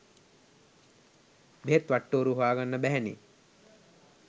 බෙහෙත් වට්ටෝරුව හොයාගන්න බැහැනේ.